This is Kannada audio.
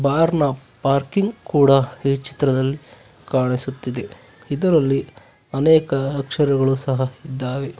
ಬಾರ್ ನ ಪಾರ್ಕಿಂಗ್ ಕೂಡ ಈ ಚಿತ್ರದಲ್ಲಿ ಕಾಣಿಸುತ್ತಿದೆ ಇದರಲ್ಲಿ ಅನೇಕ ಅಕ್ಷರಗಳು ಸಹ ಇದ್ದಾವೆ.